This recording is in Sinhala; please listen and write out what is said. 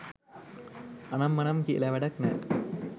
අනම් මනම් කියලා වැඩක් නෑ